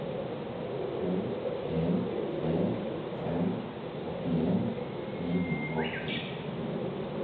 to en tre fem åttien ni hundre og ti